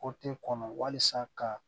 kɔnɔ walasa ka